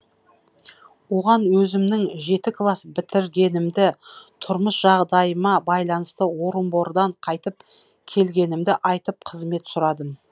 оған өзімнің жеті класс бітіргенімді тұрмыс жағдайыма байланысты орынбордан қайтып келгенімді айтып қызмет сұрадым